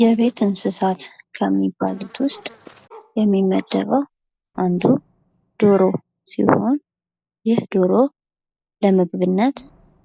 የቤት እንሰሳት ከሚባሉት ውስጥ የሚመደበው አንዱ ደሮ ሲሆን ይህ ደሮ ለምግብነት